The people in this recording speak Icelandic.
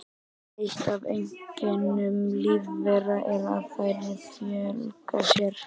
Eitt af einkennum lífvera er að þær fjölga sér.